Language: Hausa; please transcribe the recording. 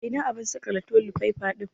Ina abun saƙale toli faifa ɗin?